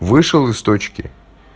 вышел из точки